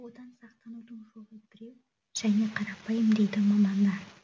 одан сақтанудың жолы біреу және қарапайым дейді мамандар